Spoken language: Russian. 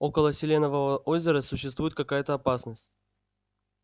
около селенового озера существует какая-то опасность